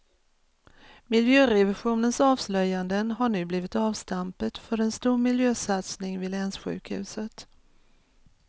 Miljörevisionens avslöjanden har nu blivit avstampet för en stor miljösatsning vid länssjukhuset.